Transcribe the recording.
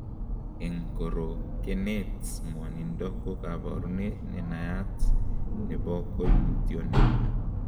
En korokenet, ng'wonindo ko koborunet nenayat nebo koimutioniton.